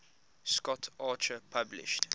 scott archer published